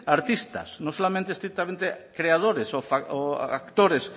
a artistas no solamente estrictamente a creadores o a actores